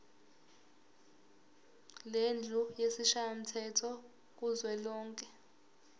lendlu yesishayamthetho kuzwelonke